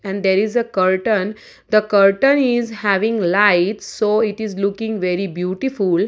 and there is a curtain the curtain is having lights so it is looking very beautiful.